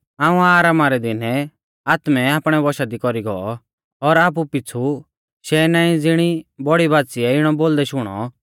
हाऊं आरामा रै दिनै आत्मै आपणै वशा दी कौरी गौ और आपु पीछ़ु शैहनाईं ज़िणी बौड़ी बाच़ीयै इणौ बोलदै शुणौ